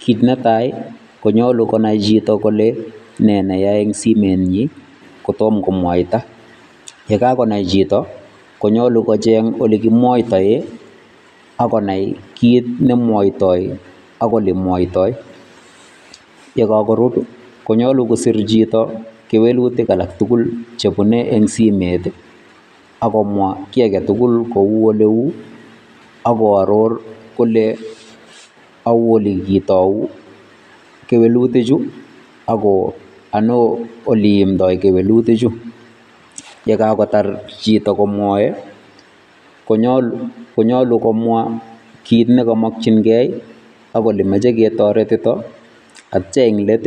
Kit netai, konyolu konai chito kole ne neya eng simenyi, kotom komwaita. Yekakonai chito, konyolu kocheng olekimwoitoe ak konai kit nemwoitoi ak olemwoitoi. Yekakorub, konyolu kosir chito kewelutik alak tukul chebune eng simet, ak komwa kiy aketukul kou oleu, ak koaror kole ou olekitou kewelutichu ako ano oleiimdoi kewelutichu. Yekakotar chito komwoe, konyolu komwa kit nekamokchinkei ak olemoche ketoretito atya eng let